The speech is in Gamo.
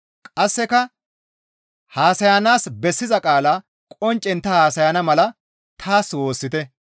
Qasseka haasayanaas bessiza qaala qonccen ta haasayana mala taas woossite.